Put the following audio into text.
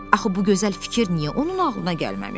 Axı bu gözəl fikir niyə onun ağlına gəlməmişdi?